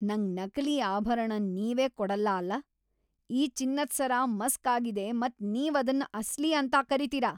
ನಂಗ್ ನಕಲಿ ಆಭರಣನ್ ನೀವ್ ಕೊಡಲ್ಲ ಅಲ್ಲಾ? ಈ ಚಿನ್ನದ್ ಸರ ಮಸ್ಕ್ ಆಗಿದೆ ಮತ್ ನೀವ್ ಅದನ್ ಅಸ್ಲಿ ಅಂತ ಕರಿತೀರಾ ?